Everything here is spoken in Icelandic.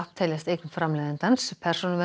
teljast eign framleiðandans